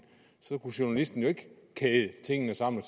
så kunne journalisten jo ikke kæde tingene sammen